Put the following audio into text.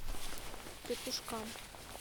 петушкам